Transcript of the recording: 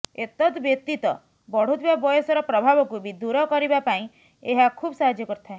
ଏତଦ୍ ବ୍ୟତୀତ ବଢୁଥିବା ବୟସର ପ୍ରଭାବକୁ ବି ଦୂର କରିବା ପାଇଁ ଏହା ଖୁବ୍ ସାହାଯ୍ୟ କରିଥାଏ